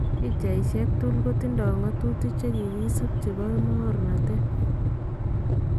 pichaisiek tugul kotindo ngatutik chekikisub chebo mokornotet